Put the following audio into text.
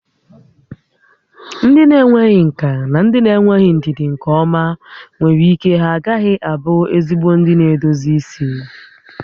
Ndị na-enweghị nkà na ndị na-enweghị ndidi nke ọma nwere ike ha agaghị abụ ezigbo ndị na-edozi isi